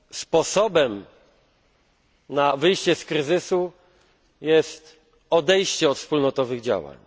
sposobem na wyjście z kryzysu jest odejście od wspólnotowych działań.